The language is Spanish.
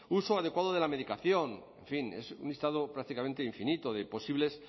uso adecuado de la medicación en fin es un listado prácticamente infinito de posibles